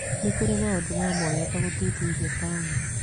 Nĩ kũrĩ maũndũ ma mwanya ta gũthuthuria taũni.